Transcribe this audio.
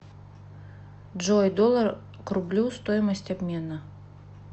джой доллар к рублю стоимость обмена